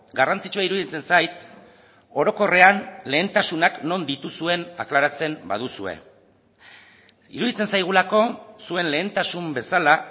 garrantzitsua iruditzen zait orokorrean lehentasunak non dituzuen aklaratzen baduzue iruditzen zaigulako zuen lehentasun bezala